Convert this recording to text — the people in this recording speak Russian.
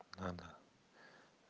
а да